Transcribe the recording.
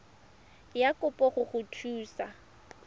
ya kopo go go thusa